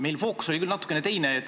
Meie fookus oli küll natukene teine.